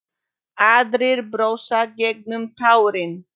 Aðrir brosa gegnum tárin.